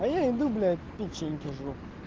а я иду блять печеньки жру